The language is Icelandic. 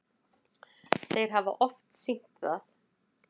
Þeir hafa oft sýnt það.